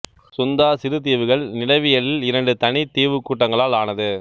சுந்தா சிறு தீவுகள் நிலவியலில் இரண்டு தனித்த தீவுக்கூட்டங்களால் ஆனது